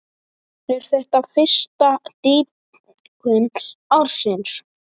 Er þetta fyrsta dýpkun ársins.